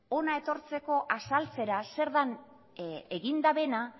hona etortzeko azaltzera zer den egin dutena